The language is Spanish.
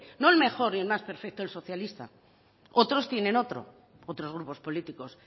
no el mejor ni el más perfecto el socialista otros tienen otro otros grupos políticos